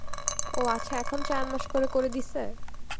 ও আচ্ছা এখন চার মাস করে, করে দিসে?